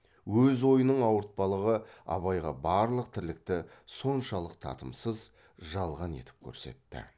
өз ойының ауыртпалығы абайға барлық тірлікті соншалық татымсыз жалған етіп көрсетті